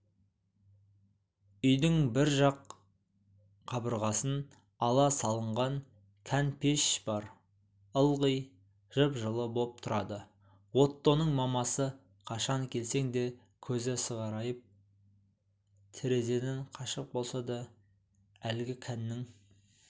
үйдің бір жақ қабырғасын ала салынған кән пеш бар ылғи жып-жылы боп тұрады оттоның мамасы қашан келсең де көзі сығырайып терезеден қашық болса да әлгі кәннің